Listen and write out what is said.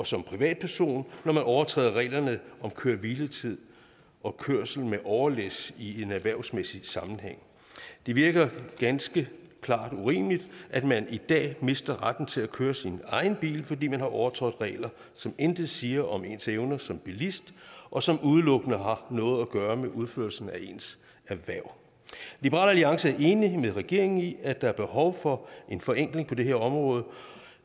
som privatperson når man overtræder reglerne om køre hvile tid og kørsel med overlæs i en erhvervsmæssig sammenhæng det virker ganske klart urimeligt at man i dag mister retten til at køre sin egen bil fordi man har overtrådt regler som intet siger om ens evner som bilist og som udelukkende har noget at gøre med udførelsen af ens erhverv liberal alliance er enig med regeringen i at der er behov for en forenkling på det her område